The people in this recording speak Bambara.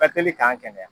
Ka teli k'an kɛnɛya